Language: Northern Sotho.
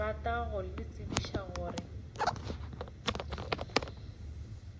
rata go le tsebiša gore